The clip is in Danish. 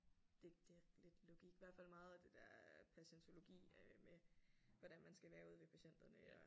Det det er lidt logik hvert fald meget af det der patientologi øh med hvordan man skal være ude ved patienterne og